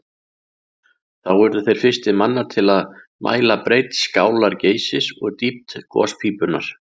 Þá urðu þeir fyrstir manna til að mæla breidd skálar Geysis og dýpt gospípunnar.